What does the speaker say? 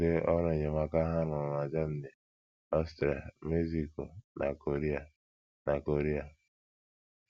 Tụlee ọrụ enyemaka ha rụrụ na Germany, Austria, Mexico, na Korea, na Korea.